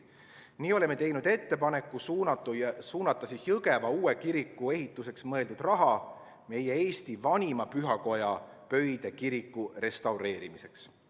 Nii oleme teinud ettepaneku suunata Jõgeva uue kiriku ehituseks mõeldud raha Eesti vanima pühakoja, Pöide kiriku restaureerimiseks.